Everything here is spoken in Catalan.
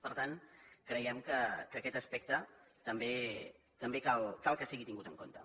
per tant creiem que aquest aspecte també cal que sigui tingut en compte